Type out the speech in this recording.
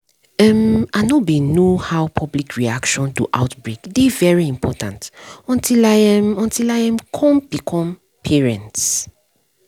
um i know bin know how public reaction to outbreak dey very important until i um until i um come become parents